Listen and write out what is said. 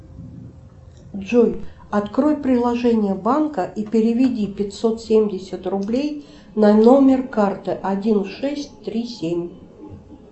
джой открой приложение банка и переведи пятьсот семьдесят рублей на номер карты один шесть три семь